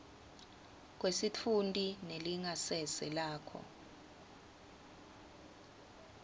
kwesitfunti nelingasese lakho